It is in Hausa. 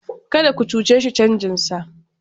Kada ku cuce shi canjinsa!